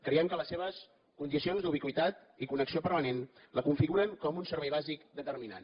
creiem que les seves condicions d’ubiqüitat i connexió permanent la configuren com un servei bàsic determinant